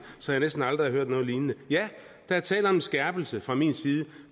så jeg næsten aldrig har hørt noget lignende ja der er tale om en skærpelse fra min side